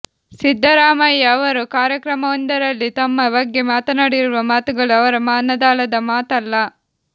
ಸಿದ್ದರಾಮಯ್ಯ ಅವರು ಕಾರ್ಯಕ್ರಮವೊಂದರಲ್ಲಿ ತಮ್ಮ ಬಗ್ಗೆ ಮಾತನಾಡಿರುವ ಮಾತುಗಳು ಅವರ ಮನದಾಳದ ಮಾತಲ್ಲ